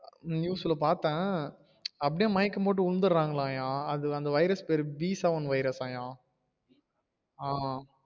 News ல பாத்தேன் அப்டியே மயக்கம் போட்டு விழுந்திருரங்கலாம்யா அது அந்த virus பேரு b seven virus ஆம்யா ஆஹ்